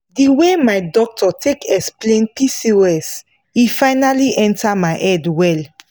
the way my doctor take explain pcos e finally enter my head well.